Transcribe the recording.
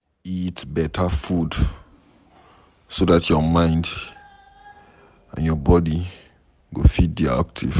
Eat better food so dat your mind and your body go fit dey active